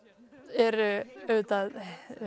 er auðvitað